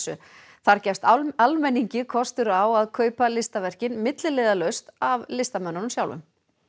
þar gefst almenningi kostur á að kaupa listaverkin milliliðalaust af listamönnunum